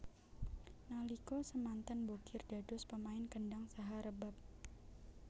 Nalika semanten Bokir dados pemain kendhang saha rebab